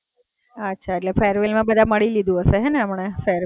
અચ્છા, એટલે farewell માં બધાને મડી લીધું હશે ને હમણાં?